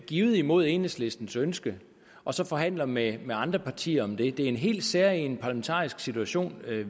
givet imod enhedslistens ønske og så forhandler med andre partier om det er en helt særegen parlamentarisk situation